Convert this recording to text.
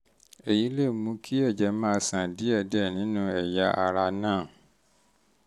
èyí lè mú kí ẹ̀jẹ̀ máa ṣàn díẹ̀díẹ̀ nínú ẹ̀yà ara náà